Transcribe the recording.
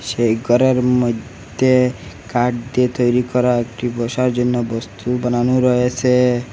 সেই ঘরের মইধ্যে কাঠ দিয়ে তৈরি করা একটি বসার জন্য বস্তু বানানো রয়েছে।